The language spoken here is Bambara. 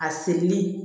A serili